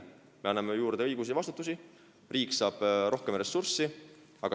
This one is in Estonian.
Me anname juurde õigusi ja vastutust ning riik saab rohkem ressurssi.